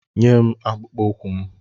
Nyem akpụkpọ ụkwụ m!